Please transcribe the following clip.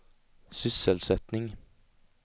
sysselsättning